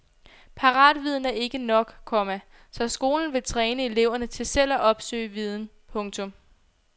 Paratviden er ikke nok, komma så skolen vil træne eleverne til selv at opsøge viden. punktum